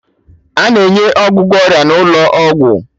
A na-enye ọgwụgwọ ọrịa n'ụlọ ọgwụ